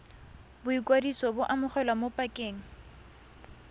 boikwadiso bo amogelwa mo pakeng